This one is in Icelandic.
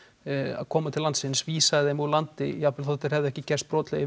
að koma til landsins vísaði þeim úr landi jafnvel þó þeir hefðu ekki gerst brotlegir